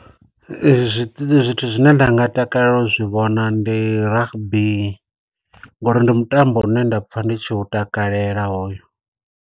Zwithu zwine nda nga takalela u zwi vhona ndi rugby, nga uri ndi mutambo une nda pfa ndi tshi u takalela hoyo.